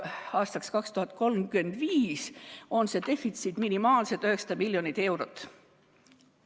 Aastaks 2035 on see defitsiit minimaalselt 900 miljonit eurot.